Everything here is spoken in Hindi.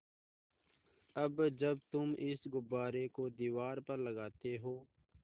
अब जब तुम इस गुब्बारे को दीवार पर लगाते हो